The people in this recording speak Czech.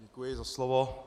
Děkuji za slovo.